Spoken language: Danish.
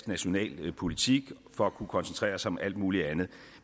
nationale politik for at kunne koncentrere sig om alt muligt andet